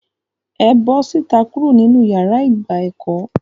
É bọ síta kuro ninu iyàrá ìgbà ẹkọ!